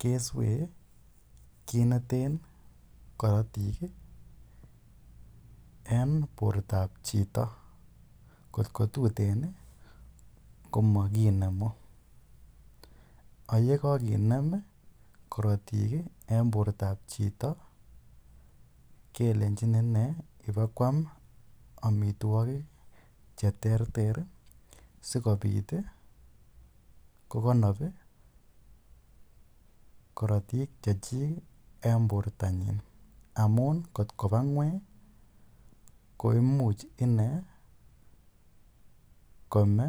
keswee kiit ne teen karatik eng' porto ap chito. Ngot tuteen i, ko makinemu. Ak ye kakinem karatik eng' portoap chito, kelenchin ipa koam amitwogik che ter ter asikopit kokanap karatik che chik eng' portonyi. Amu ngot kopa ngweny ko imuch ine kome.